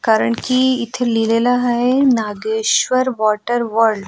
कारण कि इथे लिहिलेलं आहे नागेश्वर वॉटर वर्ल्ड .